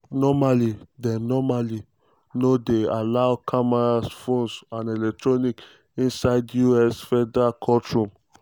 normally dem normally dem no dey allow cameras phones and electronic inside us federal courtrooms.